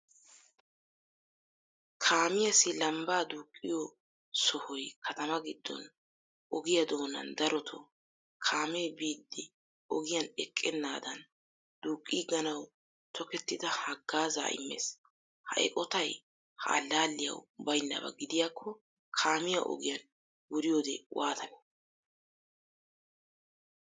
Kaamiyaasi lambba duuqiyo sohoy kattama giddon, ogiyaa doonan darotto kaame biiddi ogiyan eqqenaadan duuqqiganawu tokkettida haggaazza immees. Ha eqqottay ha allaliyawu baynaba gidiyako kaamiya ogiyan wuriyode waatanee?